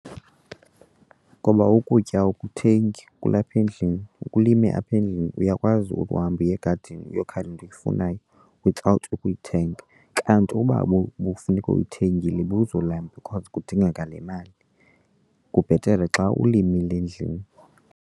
Ngoba ukutya awukuthengi kulapha endlini, ukulime apha endlini. Uyakwazi ukuhamba uye egadini uyokha le nto uyifunayo without ukuyithenga kanti uba ubufuneka uyithengile ubuzolamba because kudingeka le mali. Kubhetele xa ulimile endlini.